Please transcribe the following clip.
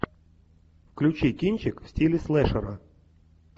включи кинчик в стиле слэшера